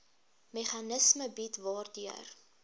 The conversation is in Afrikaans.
meganisme bied waardeur